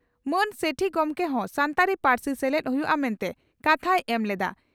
ᱢᱟᱹᱱ ᱥᱮᱴᱷᱤ ᱜᱚᱢᱠᱮ ᱦᱚᱸ ᱥᱟᱱᱛᱟᱲᱤ ᱯᱟᱹᱨᱥᱤ ᱥᱮᱞᱮᱫ ᱦᱩᱭᱩᱜᱼᱟ ᱢᱮᱱᱛᱮ ᱠᱟᱛᱷᱟᱭ ᱮᱢ ᱞᱮᱫᱼᱟ ᱾